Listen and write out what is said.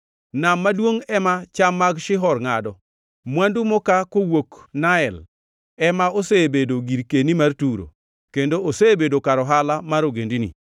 Nam maduongʼ ema cham mag Shihor ngʼado, mwandu mokaa kowuok Nael ema osebedo girkeni mar Turo, kendo osebedo kar ohala mar ogendini.